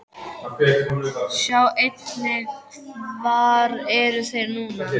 Sjá einnig: Hvar eru þeir núna?